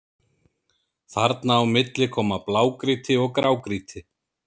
Þarna á milli koma blágrýti og grágrýti.